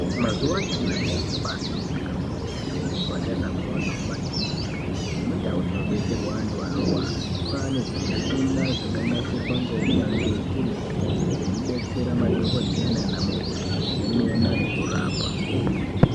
Mazuwa anyamashi zviro zvabaahlamburika kwemene muzvipataramwo nemumakirinika nemundau dzinobetserwa antu anorwara .Kwaane zvimushina zvakanasirwa ngounyanzvi ukurutu zvekubetsera madhokodheya naanamukoti kuzemena nekurapa.